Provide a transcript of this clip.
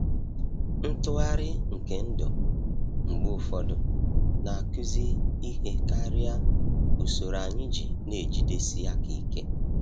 Ntughari nke ndụ mgbe ụfọdụ na-akụzi ihe karịa usoro anyị na-ejidesi aka ike.